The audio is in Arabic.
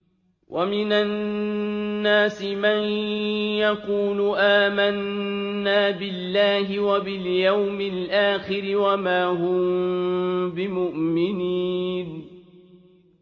وَمِنَ النَّاسِ مَن يَقُولُ آمَنَّا بِاللَّهِ وَبِالْيَوْمِ الْآخِرِ وَمَا هُم بِمُؤْمِنِينَ